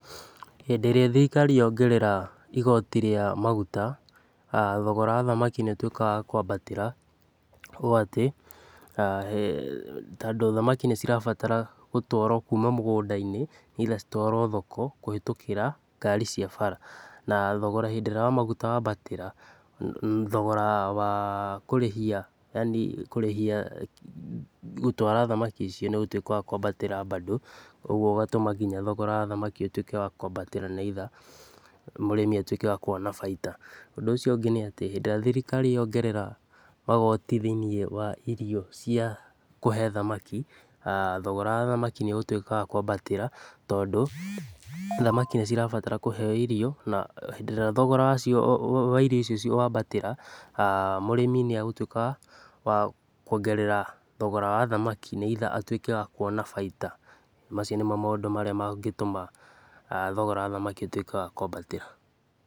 Hindĩ ĩrĩa thĩrikari yongerera igoti rĩa maguta, thogora wa thamaki nĩ ũtuĩkaga wa kwambatĩra, ũũ ati, tondũ thamaki nĩ cirabatara gũtwarwo kuuma mũgũnda-inĩ either citwarwo thoko, kũhetũkĩra ngari cia bara. Na thogora hĩndĩ ĩrĩa wa maguta wambatĩra, thogora wa kũrĩhia, yaani kũrĩhia gũtwara thamaki icio nĩ ũgũtuĩka wa kwambatĩra mbandũ, ũguo thogora wa thamaki ũgatuĩka wa kwambatĩra nĩguo mũrĩmi ahote kwona bainda. Ũndũ icio ũngĩ nĩ atĩ, hindĩ ĩrĩa thirikari yongerere igoti thĩiniĩ wa irio cia kũhe thamaki, thogora wa thamaki nĩ ũgũtuĩka wa kwambatĩra tondũ thamaki nĩ cirabata kũheyo irio, na hĩndĩ ĩrĩa thogora wa irio icio wambatĩra, mũrĩmi nĩ egũtuĩkaga wa kuongerera thogora wa thamaki, nĩ either atuĩke wa kuona bainda. Mau nĩmo matũmaga thogora wa thamaki ũtuĩke wa kwambatĩra.